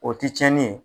O ti cɛnni ye